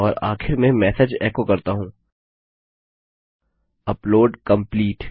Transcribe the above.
और आखिर में मेसेज एको करता हूँ अपलोड कंप्लीट